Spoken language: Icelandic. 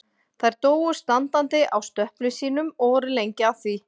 Þær dóu standandi á stöplum sínum og voru lengi að því.